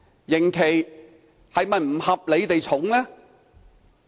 刑期是否不合理地過重呢？